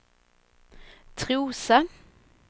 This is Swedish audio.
Trosa